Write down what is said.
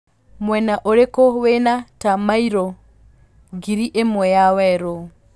mwena ũrikũ wĩna ta maĩro ngiri ĩmwe ya werũ